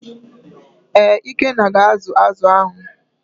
ee, ikenna ga azu azu ahụ.